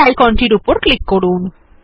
এই আইকন টির উপর ক্লিক করুন